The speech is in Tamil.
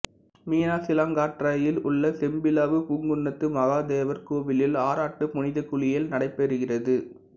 மீனச்சிலாற்றங்கரையில் உள்ள செம்பிலாவு பூங்குன்னத்து மகாதேவர் கோவிலில் ஆராட்டு புனித குளியல் நடைபெறுகிறது